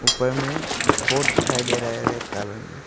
ऊपर में बोर्ड दिखाई दे रहा है रेड कलर में।